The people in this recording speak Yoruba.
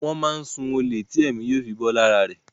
Wón máá n sun olè tí èmí yóò fi bó lára rè.